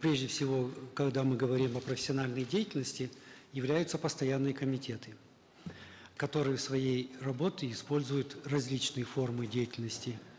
прежде всего когда мы говорим о профессиональной деятельности являются постоянные комитеты которые своей работой используют различные формы деятельности